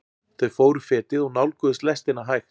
Þau fóru fetið og nálguðust lestina hægt.